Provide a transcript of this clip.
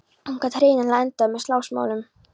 Hún gat hreinlega endað með slagsmálum.